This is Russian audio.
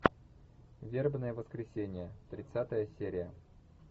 вербное воскресенье тридцатая серия